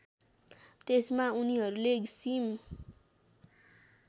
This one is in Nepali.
त्यसमा उनीहरूले सिम